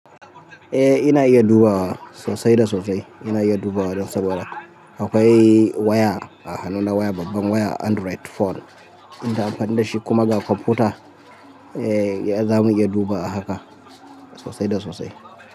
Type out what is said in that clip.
Eh ina iya dubawa sosai da sosai. Ina iya dubawa don saboda akwai waya, a hannuna waya, babban waya Android phone. Ina amfani da shi kuma ga kwamfuta, eh za mu iya duba a haka sosai da sosai.